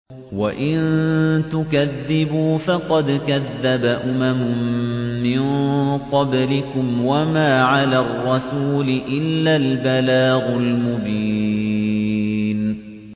وَإِن تُكَذِّبُوا فَقَدْ كَذَّبَ أُمَمٌ مِّن قَبْلِكُمْ ۖ وَمَا عَلَى الرَّسُولِ إِلَّا الْبَلَاغُ الْمُبِينُ